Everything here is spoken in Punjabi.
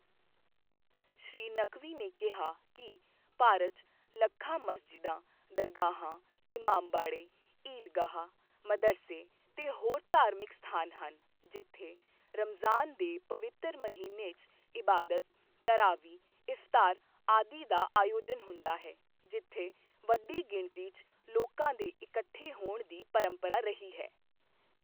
ਸ਼੍ਰੀ ਨਕਵੀ ਨੇ ਕਿਹਾ ਕੀ ਭਾਰਤ ਚ ਲੱਖਾਂ ਮਸਜਿਦਾਂ, ਦਰਗਾਹਾਂ, ਇਮਾਮਬਾੜੇ, ਈਦਗਾਹਾਂ, ਮਦਰੱਸੇ ਤੇ ਹੋਰ ਧਾਰਮਿਕ ਸਥਾਨ ਹਨ, ਜਿੱਥੇ ਰਮਜ਼ਾਨ ਦੇ ਪਵਿੱਤਰ ਮਹੀਨੇ ਚ ਇਬਾਦਤ, ਤਰਾਵੀ, ਇਫ਼ਤਾਰ ਆਦਿ ਦਾ ਆਯੋਜਨ ਹੁੰਦਾ ਹੈ, ਜਿੱਥੇ ਵੱਡੀ ਗਿਣਤੀ ਚ ਲੋਕਾਂ ਦੇ ਇਕੱਠੇ ਹੋਣ ਦੀ ਪਰੰਪਰਾ ਰਹੀ ਹੈ।